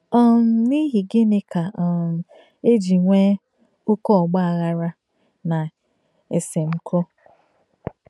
um N’íhi gìnì kà um è jì nwèē óké ọ́gbà àghàrà nà èsèm̀kọ̀?